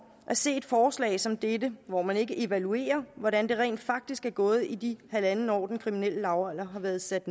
at se et forslag som dette hvor man ikke evaluerer hvordan det rent faktisk er gået i det halvandet år den kriminelle lavalder har været sat